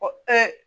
Ko